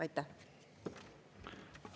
Aitäh!